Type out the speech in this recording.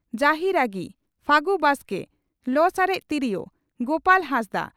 ᱡᱟᱹᱦᱤᱨᱟᱜᱤ (ᱯᱷᱟᱹᱜᱩ ᱵᱟᱥᱠᱮ) ᱞᱚ ᱥᱟᱨᱮᱡ ᱛᱤᱨᱭᱳ (ᱜᱚᱯᱟᱞ ᱦᱟᱸᱥᱫᱟᱜ)